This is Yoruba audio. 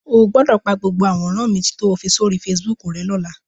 O gbọ́dọ̀ pa gbogbo àwòrán mi to fi sóri Facebook rẹ́ lọ́la.